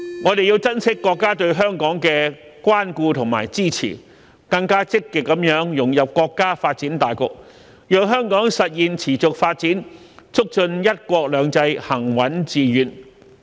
我們要珍惜國家對香港的關顧和支持，更積極地融入國家發展大局，讓香港實現持續發展，促進"一國兩制"行穩致遠。